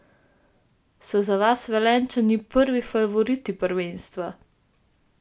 So za vas Velenjčani prvi favoriti prvenstva?